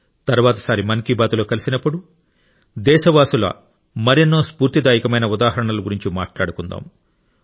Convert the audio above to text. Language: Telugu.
తర్వాతిసారి మన్ కీ బాత్లో కలిసినప్పుడు దేశవాసుల మరెన్నో స్ఫూర్తిదాయకమైన ఉదాహరణల గురించి మాట్లాడుకుందాం